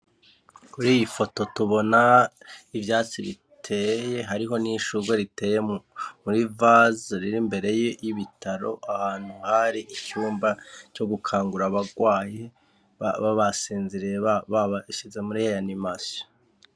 Kuri iyi foto tubona ivyatsi biteye hariho n'ishujwe riteye muri vaza riri mbereyo y'ibitaro ahantu hari ityumba co gukangura abarwahe babasenzirie ba babashize muri heya ni masha.